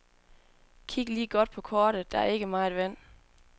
Kig lige godt på kortet, der er ikke meget vand.